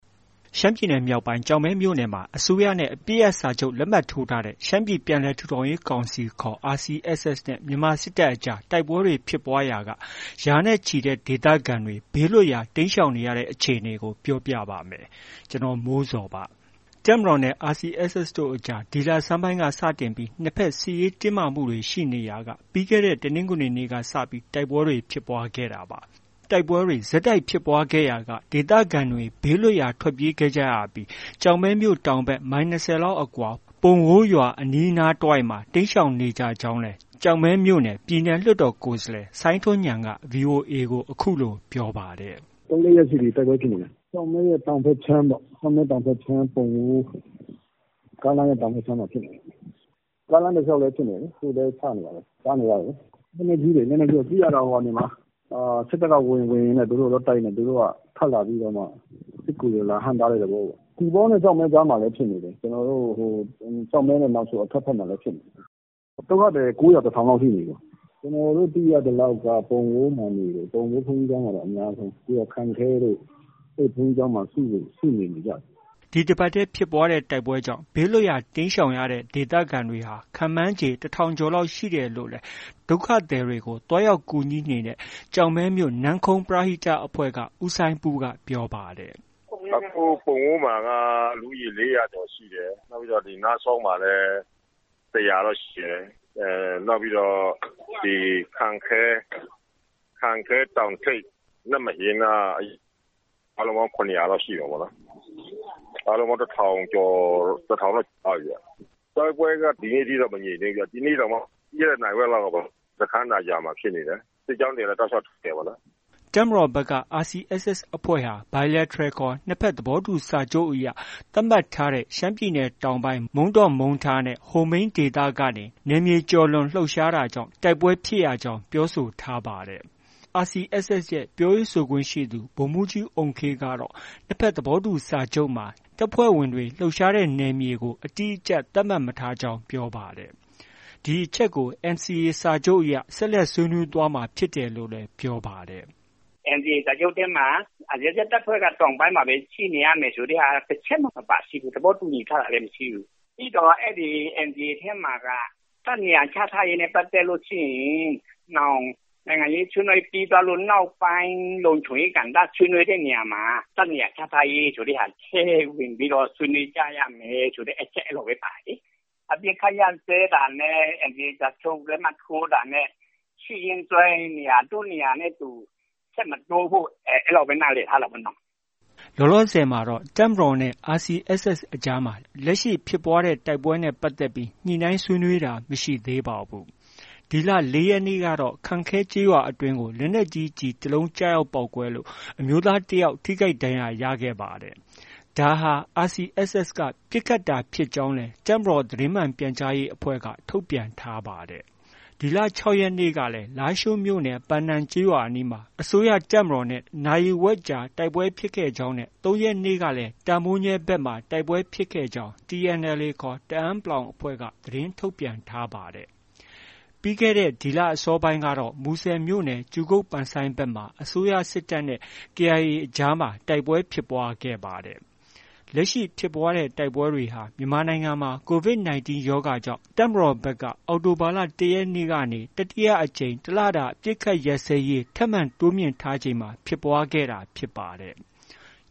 ရှမ်းပြည်နယ်မြောက်ပိုင်း ကျောက်မဲမြို့နယ်မှာ အစိုးရနဲ့ အပစ်ရပ်စာချုပ် လက်မှတ်ထိုးထားတဲ့ ရှမ်းပြည်ပြန်လည်ထူထောင်ရေး ကောင်စီ ခေါ် RCSS နဲ့ မြန်မာစစ်တပ်ကြား တိုက်ပွဲတွေ ဖြစ်ပွားရာက ရာနဲ့ချီတဲ့ ဒေသခံတွေ ဘေးလွတ်ရာ တိမ်းရှောင်နေရတဲ့ အခြေအနေကို ပြောပြပါမယ်။ ဗွီအိုအေမြန်မာပိုင်း သတင်းထောက် ကိုမိုးဇော်က ပြောပြပေးပါမယ်။ တပ်မတော်နဲ့ RCSS တို့အကြား ဒီလဆန်းပိုင်းကစတင်ပြီး ၂ဘက် စစ်ရေးတင်းမာမှုတွေ ရှိနေရာက ပြီးခဲ့တဲ့ တနင်္ဂနွေနေ့ကစ တိုက်ပွဲတွေ ဖြစ်ပွားခဲ့တာပါ။ တိုက်ပွဲတွေ ဆက်တိုက်ဖြစ်ပွားရာက ဒေသခံတွေ ဘေးလွတ်ရာ ထွက်ပြေးခဲ့ကြရပြီး ကျောက်မဲမြို့တောင်ဘက် မိုင် ၂၀ လောက်အကွာ ပုံဝိုးရွာနဲ့ အနီးအနားတဝိုက်မှာ တိမ်းရှောင်နေကြရကြောင်းလည်း ကျောက်မဲမြို့နယ် ပြည်နယ်လွှတ်တော်ကိုယ်စားလှယ် စိုင်းထွန်းဉာဏ်က VOA ကို အခုလို ပြောပါတယ်။ “ သုံး၊ လေးရက်ရှိပြီ တိုက်ပွဲဖြစ်နေတာ။ ကျောက်မဲ တောင်ဘက်ခြမ်းပေါ့။ ပုံဝိုး၊ ကားလမ်းရဲ့ တောင်ဘက်ခြမ်းမှာဖြစ်နေတာ။ ကားလမ်းတစ်လျှောက်လည်း ဖြစ်နေတယ်လေ။ ခုလည်း ချနေတာပဲ။ ကြားနေရတယ်လေ။ လက်နက်ကြီးတွေ၊ လက်နက်ကြီးက ကြည့်ရတာ စစ်တပ်က ဝင်ပြီး သူတို့ သွားတိုက်တော့ သူတို့က ထွက်လာပြီးတော့မှ စစ်ကူတွေ ဟန့်တားတဲ့ သဘောပေါ့။ သီပေါနဲ့ ကျောက်မဲကြားမှာလည်း ဖြစ်နေတယ်။ ကျနော်တို့ ကျောက်မဲနဲ့ နောင်ချို အထွက်ဘက်မှာလည်းဖြစ်နေတယ်။ ဒုက္ခသည်လည်း ကိုးရာ၊ တစ်ထောင်လောက်ရှိနေပြီ။ ကျနော်တို့ သိရသလောက်တော့ ပုံဝိုးမှာနေတယ်။ ဘုန်းကြီးကျောင်းမှာ အများဆုံး။ ပြီးတော့ ခန့်ခဲတို့ အဲဒီဘုန်းကြီးကျောင်းမှာ စုနေနေကြတယ်။ ” ဒီတပတ်ထဲ ဖြစ်ပွားတဲ့ တိုက်ပွဲတွေကြောင့် ဘေးလွတ်ရာ တိမ်းရှောင်ကြရတဲ့ ဒေသခံတွေ ခန့်မှန်းခြေ ၁၀၀၀ ကျော် ရှိတယ်လို့လည်း ဒုက္ခသည်တွေကို သွားရောက်ကူညီနေတဲ့ ကျောက်မဲမြို့ နမ့်ခုံးပရဟိတအဖွဲ့က ဦးစိုင်းပူးကပြောပါတယ်။ “ အခု ပုံဝိုးမှာက လူဦးရေ ၄၀၀ ကျော်ရှိတယ်။ နောက်ပြီးတော့ ဒီ နားစောင်းမှာလည်း ၁၀၀တော့ ရှိတယ်။ နောက်ပြီးတော့ ဒီ ခန့်ခဲ၊ တောင်ထိပ်၊ နမ့်မအင်းနားက အားလုံးပေါင်း ၇၀၀လောက်ရှိမှာပေါ့။ အားလုံးပေါင်း ၁၀၀၀ ကျော် ။ ၁၀၀၀တော့ ကျော်သွားပြီဗျ။ တိုက်ပွဲက ဒီနေ့ ထိအောင်တော့ မငြိမ်သေးဘူးဗျ။ ဒီနေ့တောင်မှ ပြီးခဲ့တဲ့ နာရီဝက်လောက်ကပေါ့။ စခန်းသာရွာမှာဖြစ်တယ်။ စစ်ကြောင်းတွေကလည်း တောက်လျောက် ထိုးနေတယ်ပေါ့နော်။ ” တပ်မတော်ဘက်ကတော့ RCSS တပ်ဖွဲ့ဟာ Bilateral ခေါ် နှစ်ဘက် သဘောတူစာချုပ်အရ သတ်မှတ်ထားတဲ့ ရှမ်းပြည်နယ်တောင်ပိုင်း မုန်းတော့၊ မုန်းထားနဲ့ ဟိုမိန်းဒေသကနေ နယ်မြေကျော်လွန်လှုပ်ရှားတာကြောင့် တိုက်ပွဲဖြစ်ရကြောင်း ပြောဆိုထားပါတယ်။ RCSS ပြောရေးဆိုခွင့်ရှိသူ ဒုဗိုလ်မှူးကြီး အုမ်ခေးကတော့ နှစ်ဘက် သဘောတူစာချုပ်မှာ တပ်ဖွဲ့ဝင်တွေ လှုပ်ရှားတဲ့ နယ်မြေကို အတိအကျ သတ်မှတ်မထားကြောင်း ပြောပါတယ်။ ဒီအချက်ကို NCA စာချုပ်အရ ဆွေးနွေးသွားမှာဖြစ်တယ်လို့လည်း ပြောပါတယ်။ “ NCA စာချုပ်ထဲမှာ RCSS တပ်ဖွဲ့က တောင်ပိုင်းမှာပဲ ရှိနေရမယ်ဆိုတာ တစ်ချက်မှ မပါရှိဘူး။ သဘောတူညီ ထားတာလည်း မရှိဘူး။ ပြီးတော့ NCA ထဲမှာက တပ်နေရာချထားရေးနဲ့ ပတ်သက်ရင် နောင် နိုင်ငံရေးဆွေးနွေးပြီးသွားတဲ့နောက် လုံခြုံရေးကဏ္ဍ ဆွေးနွေးတဲ့နေရာမှာ တပ်နေရာချထားရေးဆိုတာ ထည့်ဝင်ပြီးတော့ ဆွေးနွေးကြရမယ်ဆိုတာ အဲလောက်ပဲ ပါတယ်လေ။ အပစ်အခတ်ရပ်စဲတာနဲ့ NCA စာချုပ် လက်မှတ် ထိုးတာနဲ့ ရှိရင်းစွဲနေရာ ဆက်မတိုးဖို့ အဲလောက်ပဲ နားလည်ထားတာပေါ့နော။” လောလောဆည်မှာတော့ တပ်မတော်နဲ့ RCSS အကြားမှာ လက်ရှိ ဖြစ်ပွားတဲ့ တိုက်ပွဲနဲ့ပတ်သက်ပြီး ညှိနှိုင်း ဆွေးနွေးတာ မရှိသေးပါဘူး။ ဒီလ ၄ရက်နေ့ကတော့ ခန့်ခဲကျေးရွာအတွင်းကို လက်နက်ကြီး ကျည်တစ်လုံးကျရောက်ပေါက်ကွဲလို့ အမျိုးသားတစ်ယောက် ထိခိုက်ဒဏ်ရာရခဲ့ပါတယ်။ ဒါဟာ RCSS က ပစ်ခတ်တာဖြစ်ကြောင်းလည်း တပ်မတေ်ာ သတင်းမှန် ပြန်ကြားရေးအဖွဲ့ ထုတ်ပြန်ထားပါတယ်။ ဒီလ ၆ရက်နေ့ကလည်း လားရှိုးမြို့နယ် ပန်နန် ကျေးရွာအနီးမှာ အစိုးရတပ်မတော်နဲ့ နာရီဝက်ကြာ တိုက်ပွဲဖြစ်ခဲ့ကြောင်း နဲ့ ၃ရက်နေ့က တာမိုးညဲဘက်မှာ တိုက်ပွဲဖြစ်ခဲ့ကြောင်း TNLA ခေါ် တအန်း အဖွဲ့သတင်းထုတ်ပြန်ထားပါတယ်။ ပြီးခဲ့တဲ့ဒီလ အစောပိုင်းမှာလည်း မူဆယ်မြို့နယ် ကြူကုတ် ဘက်မှာ အစိုးရစစ်တပ်နဲ့ KIA အကြားမှာ တိုက်ပွဲဖြစ်ပွားခဲ့ပါတယ်။ လက်ရှိ ဖြစ်ပွားတဲ့ တိုက်ပွဲတွေဟာ မြန်မာနိုင်ငံမှာ COVID-19 ရောဂါကြောင့် တပ်မတော်ဘက်က အောက်တိုဘာလ ၁ရက်နေ့ကနေ တတိယအကြိမ် တစ်လတာ အပစ်အခတ်ရပ်စဲရေး ထပ်မံတိုးမြှင့်ထားချိန်မှာ ဖြစ်ပွားခဲ့တာဖြစ်ပါတယ်။